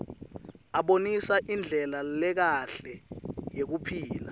abonisa indlela lekahle yekuphila